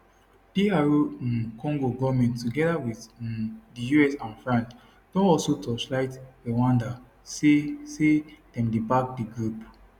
dr um congo goment togeda wit um di us and france don also torchlight rwanda say say dem dey back di group